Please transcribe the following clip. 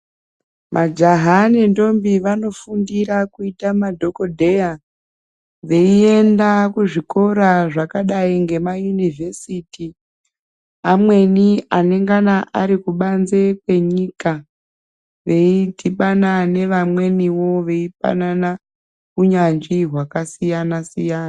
Majaha nentombi vanofundira kuita madhogodheya beyienda kuzvikora zvakadai ngemayuniversity amweni anenge anengana arikubanze kwenyika beyidibana nevamweniwo beyipanana hunyanzvi hwakasiyana siyana.